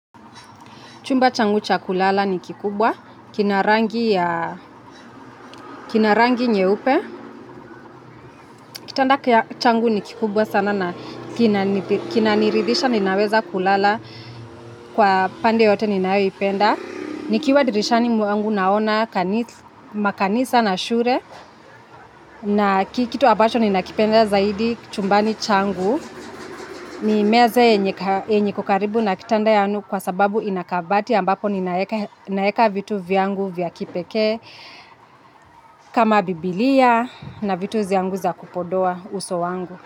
Chumba changu cha kulala ni kikubwa, kina rangi nyeupe. Kitanda changu ni kikubwa sana na kinaniridhisha ninaweza kulala kwa pande yote ninayoipenda. Nikiwa dirishani mwangu naona makanisa na shule, na kitu ambacho ninakipenda zaidi chumbani changu, ni meza yenye iko karibu na kitanda yangu kwa sababu ina kabati ambapo ninaweka vitu vyangu vya kipekee. Kama biblia na vitu zangu za kupodoa uso wangu.